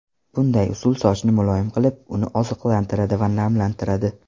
Bunday usul sochni muloyim qilib, uni oziqlantiradi va namlantiradi.